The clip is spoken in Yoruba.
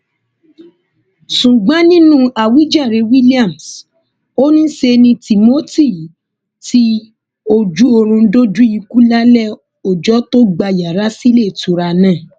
ṣùgbọn nínú àwíjàre williams ò ní ṣe ni timothy ti ojúoòrùn dójú ikú lálẹ ọjọ tó gbà yàrá síléetura náà